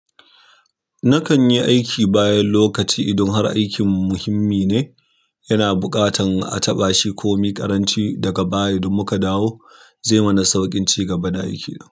Nakanyi yi aiki bayan lokaci idan har aiki muhimmi neh yana buƙatar a taɓa shi komi ƙaranci daga baya idan muka dawo zai mana sauƙin cigaba da aiki na.